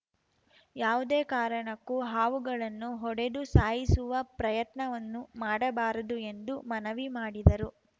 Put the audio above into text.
ಯಾವುದೇ ಕಾರಣಕ್ಕೂ ಹಾವುಗಳನ್ನು ಹೊಡೆದು ಸಾಯಿಸುವ ಪ್ರಯತ್ನವನ್ನು ಮಾಡಬಾರದು ಎಂದು ಮನವಿ ಮಾಡಿದರು